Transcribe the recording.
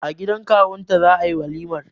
A gidan kawun ta za'a yi walimar.